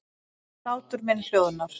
Hlátur minn hljóðar.